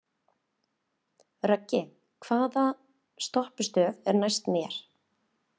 Röggi, hvaða stoppistöð er næst mér?